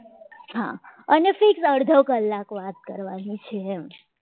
અને સિર્ફ અડધો કલાક વાત કરવાની છે એમ